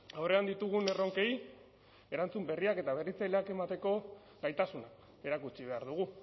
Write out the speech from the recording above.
aurrean ditugun erronkei erantzun berriak eta berritzaileak emateko gaitasuna erakutsi behar dugu